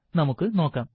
നമുക്ക് നോക്കാം